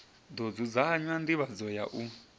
ḓo dzudzanya nḓivhadzo ya u